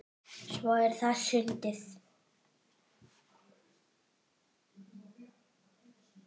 Svo er það sundið.